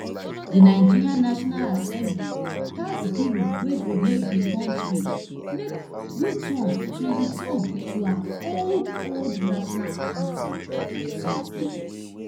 di nigeria national assembly pass bill wey go make di kontri make uturn to return to her old old national anthem on tuesday